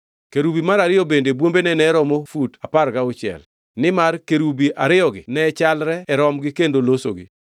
Kerubi mar ariyo bende bwombene ne romo fut apar gauchiel, nimar kerubi ariyogi ne chalre e romgi kendo losogi.